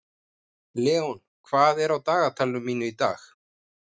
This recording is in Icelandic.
Leon, hvað er á dagatalinu mínu í dag?